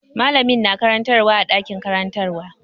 Mallamin na karantarwa a ɗakin karantarwa.